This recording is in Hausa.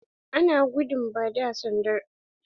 Ana gudun ba da sanda har a makarantu.